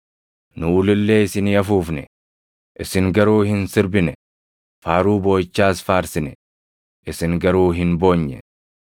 “ ‘Nu ulullee isinii afuufne; isin garuu hin sirbine; faaruu booʼichaas faarsine; isin garuu hin boonye.’